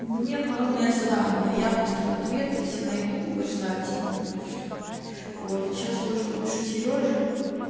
мне главное задание а я быстро ответы все найду вы же знаете меня вот сейчас может напишу серёже